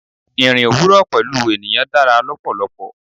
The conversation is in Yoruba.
Ìrìn òwúrò pẹ̀lú ènìyàn dára lọ́pọ̀lọpọ̀.